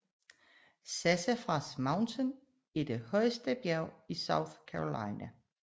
Sassafras Mountain er det højeste bjerg i South Carolina